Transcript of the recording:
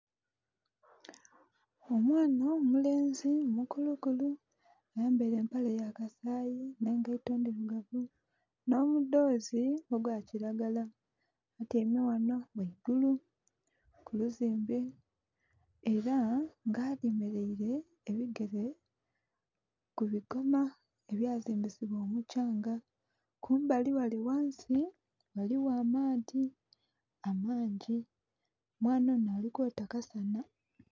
Omwana omulenzi mukulukulu ayambaire empale yakasayi n'engaito ndhirugavu n'omudhozi gwakiragala atyaime ghano ghaigulu kuluzimbe era nga ayemeraire ebigere kubigoma ebyazimbisabwa omukyanga. Kumbali ghale ghansi ghaligho amaadhi amangi, omwana ono ali kwota akasana.